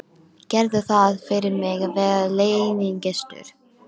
Gerðu það fyrir mig að vera leynigestur.